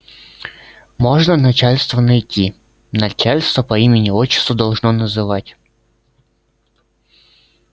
можно начальство найти начальство по имени-отчеству должно называть